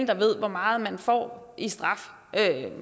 der ved hvor meget man får i straf